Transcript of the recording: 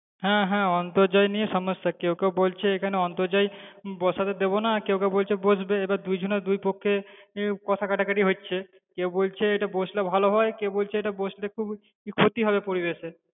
হ্যাঁ হ্যাঁ অন্তর্জাল নিয়ে সমস্যা, কেউ কেউ বলছে এখানে অন্তর্জাল বসাতে দেবোনা, কেউ কেউ বলছে বসবে এবার দুজনের দুপক্ষের কথা কাটাকাটি হচ্ছে, কেউ কেউ বলছে এটা বসলে ভালো হয় কেউ বলছে এটা বসলে খুব ক্ষতি হবে পরিবেশে।